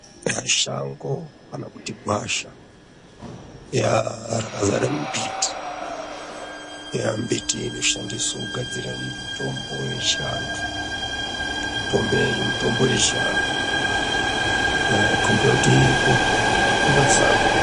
Mashango kana kuti gwasha yaa rakazara mumbiti, mbiti inoshandiswa kugadzira mitombo yechiantu. Mitombo yechiantu yaa migomboti iripo yakazara.